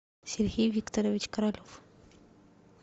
сергей викторович королев